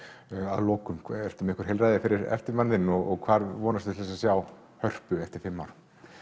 að lokum ertu með einhver heilræði fyrir eftirmann þinn og hvar vonastu til að sjá Hörpu eftir fimm ár